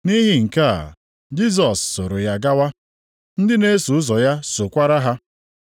Nʼihi nke a, Jisọs soro ya gawa. Ndị na-eso ụzọ ya sokwara ha.